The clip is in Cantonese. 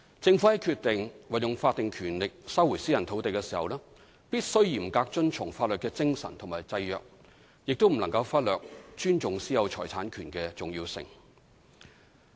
政府在決定運用法定權力收回私人土地時，必須嚴格遵從法律的精神和制約，亦不能忽略尊重私有財產權的重要性。